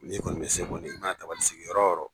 N'i kɔni bɛ se kɔni, ka mana tabali sigi yɔrɔ o yɔrɔ.